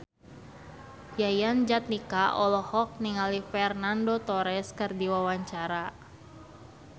Yayan Jatnika olohok ningali Fernando Torres keur diwawancara